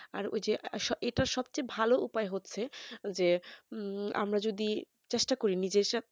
আর ওই যেএতো সবচেয়ে ভালো উপায় হচ্ছে যে আমরা যদি চেষ্টা করি নিজের